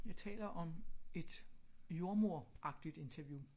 Jeg taler om et jordmoderagtigt interview